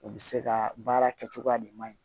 U bɛ se ka baara kɛ cogoya de man ɲi